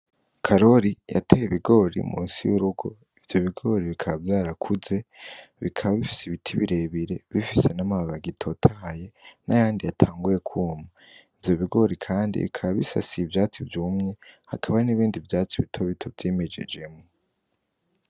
Karori yateye ibigori musi y'urugo ivyo bigori bikaba vyarakuze bikaba bifise ibiti birebire bifise n'amababagitotahaye n'ayandi yatanguye kuuma ivyo bigori, kandi bikaba bisasiye ivyatsi vyumye hakaba n'ibindi vyatsi bitobito vyimejejemwo.